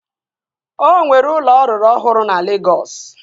Ọ nwere ụlọ ọ rụrụ ọhụrụ na Legọs